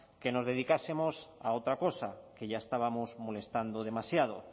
que nos dedicáramos a otra cosa que ya estábamos molestando demasiado